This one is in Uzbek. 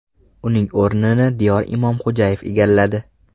Uning o‘rnini Diyor Imomxo‘jayev egalladi.